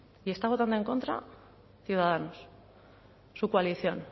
y está votando en contra ciudadanos su coalición